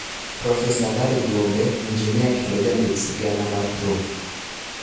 Profesa Larry Gumbe, injinia kendo jandik sigana mar thum